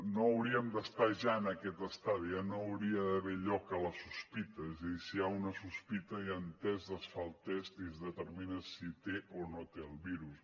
no hauríem d’estar ja en aquest estadi ja no hi hauria d’haver lloc per a la sospita és a dir si hi ha una sospita hi han tests es fa el test i es determina si té o no té el virus